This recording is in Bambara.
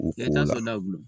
U ko n'e ta sɔn naw dun